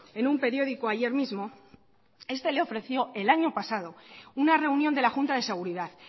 en un periódico ayer mismo este le ofreció el año pasado una reunión de la junta de seguridad